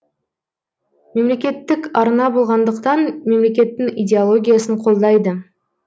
мемлекеттік арна болғандықтан мемлекеттің идеологиясын қолдайды